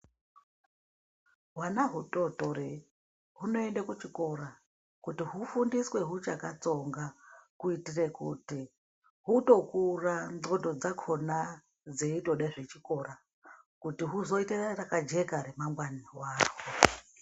Hwana hutotori hunoende kuchikora kuti hufundiswe hwuchakatsonga kuitire kuti hutokura ndxondo dzakhona dzeindode zvechikora kuti huzoite rakajeka ramangwani ravo.